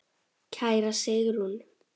Kæra Sigrún.